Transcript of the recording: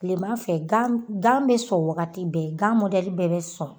kilema fɛ gan gan be sɔn wagati bɛɛ gan mɔdɛli bɛɛ be sɔn